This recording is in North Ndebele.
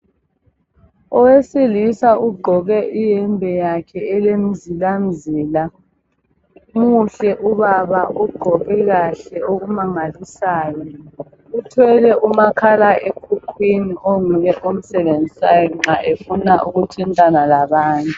Owesilisa ugqoke iyembe yakhe elemizilazila. Muhle ubaba, ugqoke kahle okumangalisayo. Uthwele umakhala ekhukhwini onguye omsebenzisayo nxa efuna ukuthintana labanye.